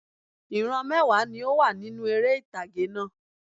Ìran mẹ́wàá ni ó wà nínú eré ìtàgé náà